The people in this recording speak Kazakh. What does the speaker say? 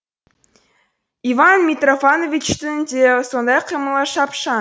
иван митрофановичтің де сондай қимылы шапшаң